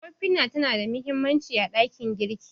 Ofina tana da mahimmanci a ɗakin girki.